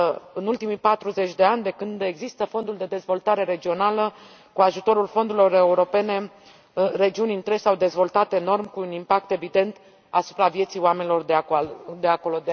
În ultimii 40 de ani, de când există Fondul de dezvoltare regională, cu ajutorul fondurilor europene, regiuni întregi s au dezvoltat enorm cu un impact evident asupra vieții oamenilor de acolo.